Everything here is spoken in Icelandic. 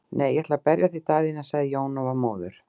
Nei, ég ætla ekki að berja þig Daðína, sagði Jón og var móður.